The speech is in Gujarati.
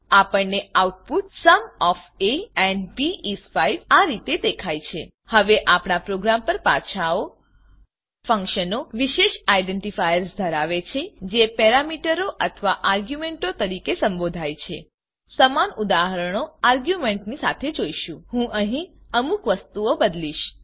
આપણને output sum of a and b is 5 આ રીતે દેખાય છે હવે આપણા પ્રોગ્રામ પર પાછા આવો ફંક્શનો વિશેષ આઇડેન્ટિફાયર્સ આઈડેન્ટીફાઈયર્સધરાવે છે જે પેરામીટરો અથવા આર્ગ્યુંમેંટો તરીકે સંબોધાય છે સમાન ઉદાહરણો આર્ગ્યુંમેંટોની સાથે જોઈશું હું અહીં અમુક વસ્તુઓ બદલીશ